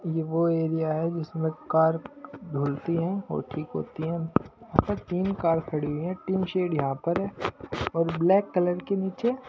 ये वो एरिया है जिसमें कार धुलती हैं और ठीक होती हैं अब तक तीन कार खड़ी हैं टीन शेड यहां पर हैं और ब्लैक कलर के नीचे--